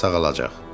Dedilər sağalacaq.